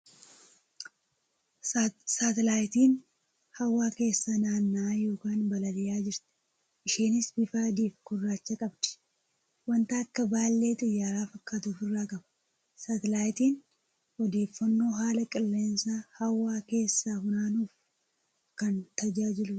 Saatalaayitiin hawwaa keesssa naanna'aa yookan balali'aa jirti. Isheenis bifa adii fi gurraacha qabdi. Wanta akka baallee xiyyaara fakkatu ofirraa qaba . Saatalaayitiin odeeffannoo haala qilleensaa hawaa keessaa funaanuuf kan tajaajiluudha .